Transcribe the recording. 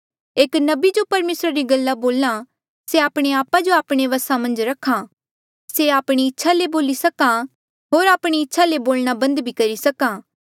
एक नबी जो परमेसरा री गल्ला बोल्हा से आपणे आपा जो आपणे बसा मन्झ रखा से आपणी इच्छा ले बोली सक्हा होर आपणी इच्छा ले बोलना बंद भी करी सक्हा